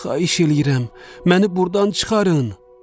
Xahiş eləyirəm, məni burdan çıxarın.